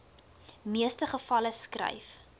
meeste gevalle skryf